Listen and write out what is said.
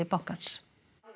bankans